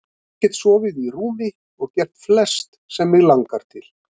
Ég get sofið í rúmi og gert flest sem mig langar til.